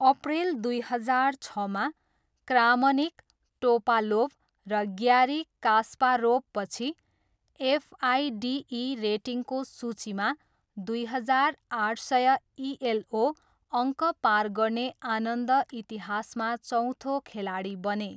अप्रेल दुई हजार छमा, क्रामनिक, टोपालोभ र ग्यारी कास्पारोभपछि एफआइडिई रेटिङको सूचीमा दुई हजार आठ सय इएलओ अङ्क पार गर्ने आनन्द इतिहासमा चौथो खेलाडी बने।